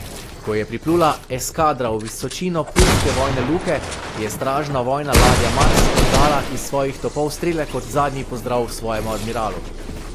Ko je priplula eskadra v visočino puljske vojne luke, je stražna vojna ladja Mars oddala iz svojih topov strele kot zadnji pozdrav svojemu admiralu.